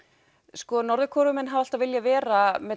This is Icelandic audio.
sko Norður Kóreumenn hafa alltaf viljað vera